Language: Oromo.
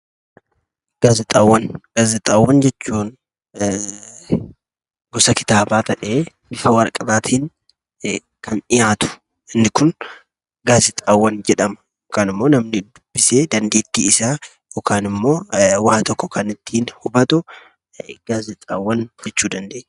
Gaazexaawwan jechuun gosa kitaabaa ta'ee kan dhiyaatu inni Kun gaazexaaawan jedhama. Yookiin immoo namni dubbisee dandeettii isaa kan ittiin gabbifatuu fi waan tokko kan ittiin hubatu gaazexaawwan jedhama.